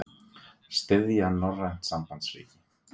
Styðja norrænt sambandsríki